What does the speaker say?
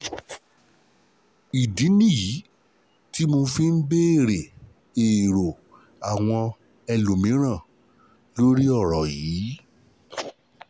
ìdí nìyí tí mo fi ń béèrè èrò àwọn ẹlòmíràn lórí ọ̀rọ̀ yìí